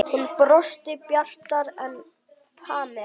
Hún brosti bjartar en Pamela.